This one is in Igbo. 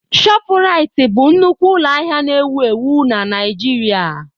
ShopuRitị bụ nnukwu ụlọ ahịa na-ewu ewu na Naịgiiria.